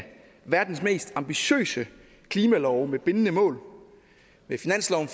verdens mest ambitiøse klimalove med bindende mål med finansloven